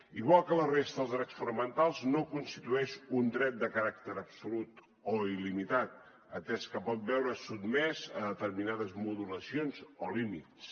igual que la resta dels drets fonamentals no constitueix un dret de caràcter absolut o il·limitat atès que pot veure’s sotmès a determinades modulacions o límits